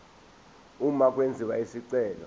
uma kwenziwa isicelo